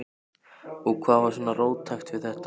Og hvað er svona róttækt við þetta?